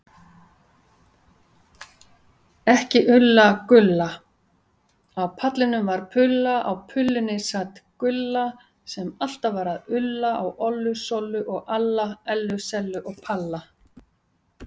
Sko þá!